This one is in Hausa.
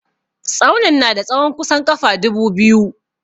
Tsaunin na da tsahon kusan ƙafa dubu biyu.